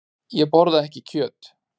Ég borða ekki kjöt.